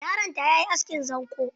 Yaron ta yayi askin zanƙo.